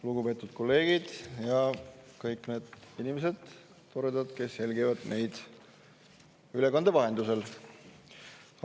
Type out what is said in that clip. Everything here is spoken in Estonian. Lugupeetud kolleegid ja kõik need toredad inimesed, kes jälgivad meid ülekande vahendusel!